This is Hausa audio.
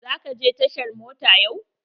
Za ka je tashar mota yau?